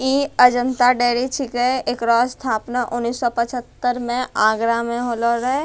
ई Ajanta diary छीके एकरो स्थापना उन्नीस शो पछत्र में आगरा में होलाओ रहै।